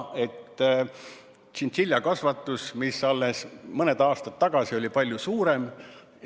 Tšintšiljakasvatus oli alles mõni aasta tagasi palju suurem.